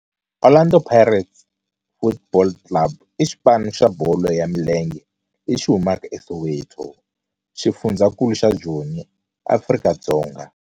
Orlando Pirates Football Club i xipano xa bolo ya milenge lexi humaka eSoweto, xifundzha xa Joni, Afrika-Dzonga.